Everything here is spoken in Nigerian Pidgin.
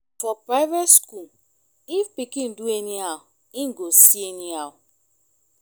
for private skool if pikin do anyhow em go see anyhow